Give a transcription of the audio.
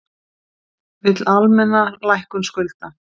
Vill almenna lækkun skulda